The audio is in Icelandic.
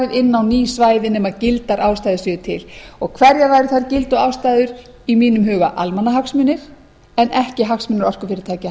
inn á ný svæði nema gildar ástæður séu til og hverjar væru þær gildu ástæður í mínum huga almannahagsmunir en ekki hagsmunir orkufyrirtækja